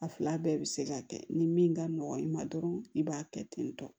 A fila bɛɛ bɛ se ka kɛ ni min ka nɔgɔ i ma dɔrɔn i b'a kɛ ten tɔ